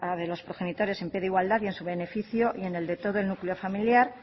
de los progenitores en plena igualdad y en su beneficio y en el de todo el núcleo familiar